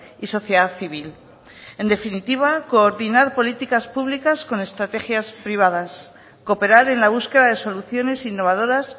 y sociedad civil en definitiva coordinar políticas públicas con estrategias privadas cooperar en la búsqueda de soluciones innovadoras